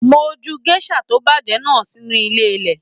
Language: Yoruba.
Mo jù gèsà to bajẹ náà sínú ilé ilẹ.